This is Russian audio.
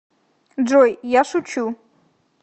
джой я шучу